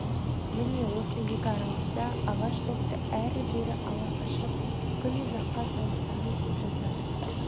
міне осы екі аралықта ағаш допты әрі-бері ала қашып күн ұзаққа салғыласамыз да жатамыз